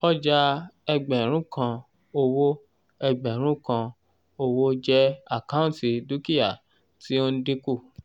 ọjà ẹgbẹ̀rún kan owó ẹgbẹ̀rún kan owó jẹ àkáǹtì dúkìá tí ó ń dínkù